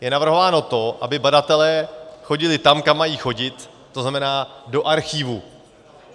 Je navrhováno to, aby badatelé chodili tam, kam mají chodit, to znamená do archivu.